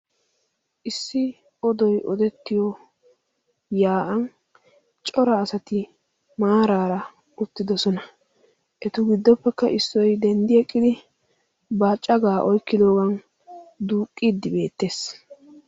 issi odoy odettiyo yaa7an cora asati maaraara uttidosona etu giddoppekka issoi denddi eqqidi baaccagaa oykqqdoogan duuqqiiddi beettees